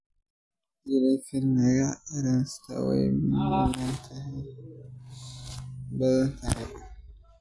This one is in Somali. Jervell Lange Nielsen syndrome waa nooc ka mid ah cilladaha QT ee dheer.